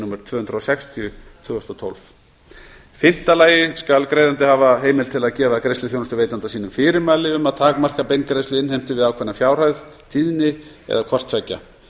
númer tvö hundruð og sextíu tvö þúsund og tólf í fimmta lagi skal greiðandi skal hafa heimild til að gefa greiðsluþjónustuveitanda sínum fyrirmæli um að takmarka beingreiðsluinnheimtu við ákveðna fjárhæð tíðni eða hvort tveggja